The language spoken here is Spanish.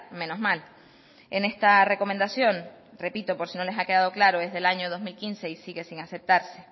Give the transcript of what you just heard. menos mal en esta recomendación repito por si no les ha quedado claro es del año dos mil quince y sigue sin aceptarse